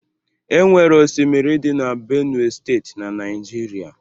Enwere osimiri dị na Benue Steeti na Naịjirịa.